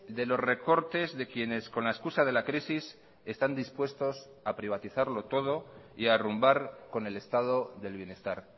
de los recortes de quienes con la excusa de la crisis están dispuestos a privatizarlo todo y a arrumbar con el estado del bienestar